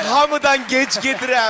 Hamıdan gec gedirəm.